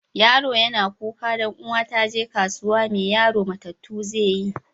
Yaro yana kuka dan uwan ta je kasuwa, mai yaron matatu zai yi?